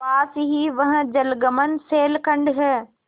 पास ही वह जलमग्न शैलखंड है